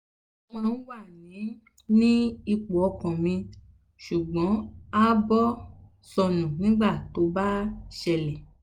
mo máa ń wà ní ní ipò ọkàn mi ṣùgbọ́n ààbọ̀ sọnù nígbà tó bá ṣẹlẹ̀